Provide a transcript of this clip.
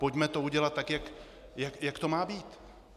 Pojďme to udělat tak, jak to má být.